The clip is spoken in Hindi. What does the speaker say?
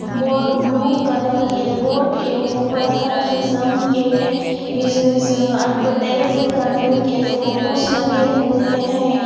बोर्ड ब्लू कलर के बोर्ड के ऊपर हर किसम के इज़ इज़ एडवर्टाइज करने के फोटुस लगे हुए हैं.